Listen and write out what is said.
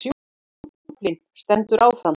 Hlákukaflinn stendur áfram